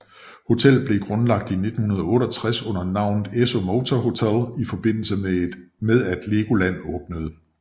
Hotellet blev grundlagt i 1968 under navnet Esso Motor Hotel i forbindelse med at Legoland åbnede